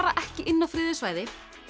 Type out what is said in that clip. ekki inn á friðuð svæði